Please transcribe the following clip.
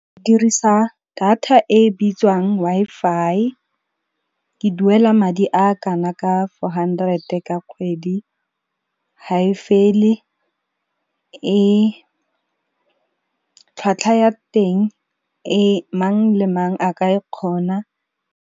Ke dirisa data e bitswang Wi-Fi. Ke duela madi a kana ka four hundred ka kgwedi, ha e fele tlhwatlhwa ya teng mang le mang a ka e kgona.